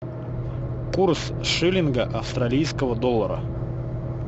курс шиллинга австралийского доллара